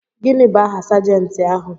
Gịnị bụ aha Sajentị ahụ.